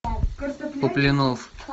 куплинов